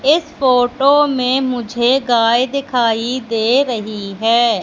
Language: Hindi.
इस फोटो में मुझे गाय दिखाई दे रही है।